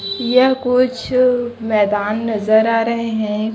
यह कुछ मैदान नजर आ रहे हैं।